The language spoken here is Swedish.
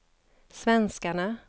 svenskarna